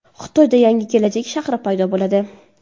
Xitoyda yangi kelajak shahri paydo bo‘ladi.